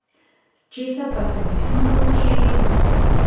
Česa pa se nismo naučili?